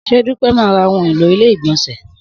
Sé Dúpẹ́ má ra ohun èlò ilé ìgbònsè